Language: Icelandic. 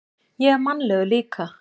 Ég er mannlegur líka.